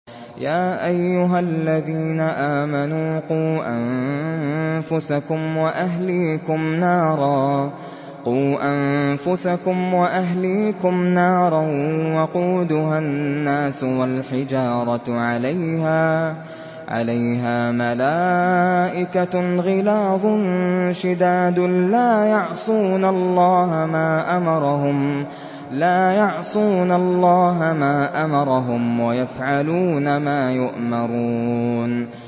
يَا أَيُّهَا الَّذِينَ آمَنُوا قُوا أَنفُسَكُمْ وَأَهْلِيكُمْ نَارًا وَقُودُهَا النَّاسُ وَالْحِجَارَةُ عَلَيْهَا مَلَائِكَةٌ غِلَاظٌ شِدَادٌ لَّا يَعْصُونَ اللَّهَ مَا أَمَرَهُمْ وَيَفْعَلُونَ مَا يُؤْمَرُونَ